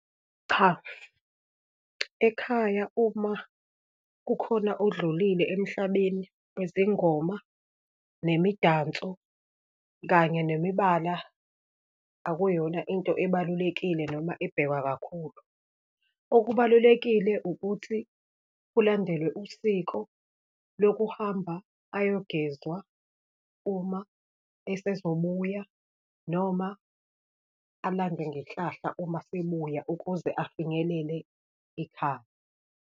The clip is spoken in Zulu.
Cha, ekhaya uma kukhona odlulile emhlabeni, wezingoma nemidanso, kanye nemibala, akuyona into ebalulekile noma ebhekwa kakhulu. Okubalulekile, ukuthi kulandelwe usiko lokuhamba ayogezwa uma esezobuya, noma alandwe ngenhlahla uma sebuya ukuze afinyelele ekhaya.